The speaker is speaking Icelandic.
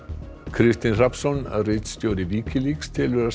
Kristinn Hrafnsson ritstjóri Wikileaks telur að